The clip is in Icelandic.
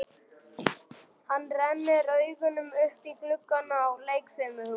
Hann rennir augunum upp í gluggana á leikfimihúsinu.